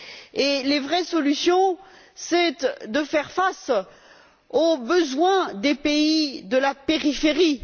Et les vraies solutions, c'est de faire face aux besoins des pays de la périphérie.